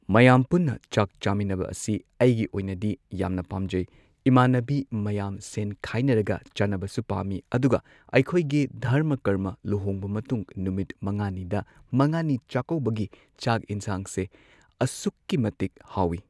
ꯃꯌꯥꯝ ꯄꯨꯟꯅ ꯆꯥꯛ ꯆꯥꯃꯤꯟꯅꯕ ꯑꯁꯤ ꯑꯩꯒꯤ ꯑꯣꯏꯅꯗꯤ ꯌꯥꯝꯅ ꯄꯥꯝꯖꯩ ꯏꯃꯥꯟꯅꯕꯤ ꯃꯌꯥꯝ ꯁꯦꯟ ꯈꯥꯏꯅꯔꯒ ꯆꯥꯅꯕꯁꯨ ꯄꯥꯝꯃꯤ ꯑꯗꯨꯒ ꯑꯩꯈꯣꯏꯒꯤ ꯙꯔꯃ ꯀꯔꯃ ꯂꯨꯍꯣꯡꯕ ꯃꯇꯨꯡ ꯅꯨꯃꯤꯠ ꯃꯉꯥꯅꯤꯗ ꯃꯉꯥꯅꯤ ꯆꯥꯛꯀꯧꯕꯒꯤ ꯆꯥꯛ ꯏꯟꯁꯥꯡꯁꯦ ꯑꯁꯨꯛꯀꯤ ꯃꯇꯤꯛ ꯍꯥꯎꯋꯤ꯫